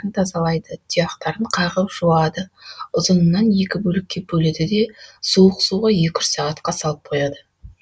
тазалайды тұяқтарын қағып жуады ұзынынан екі бөлікке бөледі де суық суға екі үш сағатқа салып қояды